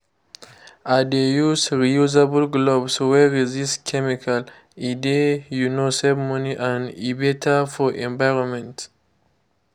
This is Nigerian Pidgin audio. i dey use reusable glove wey resist chemical—e dey um save money and e better for environment.